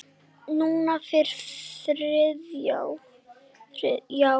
Núna fyrir þrjá.